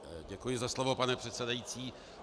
Děkuji za slovo, pane předsedající.